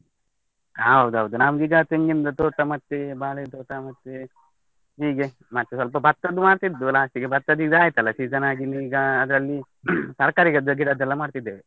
ಹ ಹೌದೌದು, ನಂದೀಗ ತೆಂಗಿನ್ದು ತೋಟ ಮತ್ತೆ ಬಾಳೆ ತೋಟ ಮತ್ತೆ, ಹೀಗೆ ಮತ್ತೆ ಸ್ವಲ್ಪ ಬತ್ತನು ಮಾಡ್ತಿದ್ವು last ಗೆ ಬತ್ತಾದು ಇದ್ ಆಯ್ತಲ್ಲ season ಆಗಿ ಇನ್ ಈಗ ಆದ್ರಲ್ಲಿ ತರ್ಕಾರಿ ಗದ್ದೆ ಗಿಡದೆಲ್ಲ ಮಾಡ್ತಿದ್ದೇವೆ.